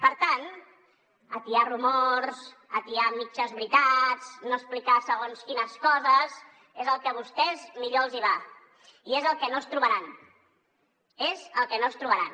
per tant atiar rumors atiar mitges veritats no explicar segons quines coses és el que vostès millor els hi va i és el que no es trobaran és el que no es trobaran